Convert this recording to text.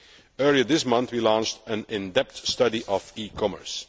Earlier this month, we launched an in depth study of e commerce.